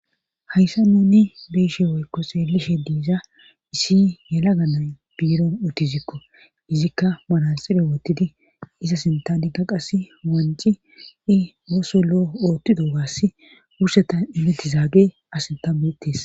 Hayssa nuni bieshe woykko seelishe diiza issi yela ganay biiro uttizikko izikka maranxire wottidi iza sintanikka qass wanci i wooso lo'o oottido waass wurseta imetti zaage asinta beettes.